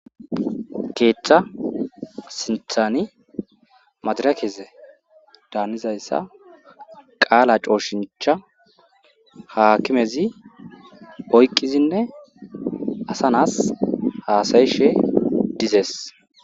keeththa sinthani madarakeze daanizayssa qaala cooshincha haakimezi oyqizinne asanas haasayishe dizees